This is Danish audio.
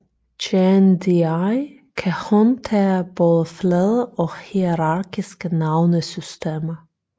JNDI kan håndtere både flade og hierarkiske navnesystemer